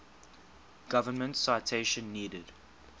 government citation needed